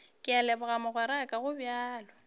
ke a leboga mogweraka gobjalo